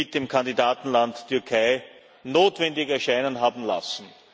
mit dem Kandidatenland Türkei notwendig erscheinen haben lassen.